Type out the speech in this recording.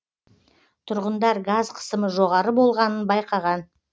тұрғындар газ қысымы жоғары болғанын байқаған